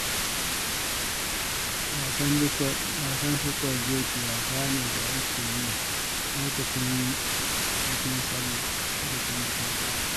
Wasan sukuwar doki wasa ne da ake yi lokacin bikin sallah.